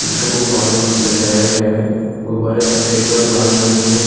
जिसको गुब्बारों से सजाया गया है गुब्बारें सफ़ेद और लाल रंग के हैं।